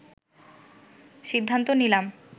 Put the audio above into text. সিদ্ধান্ত নিলাম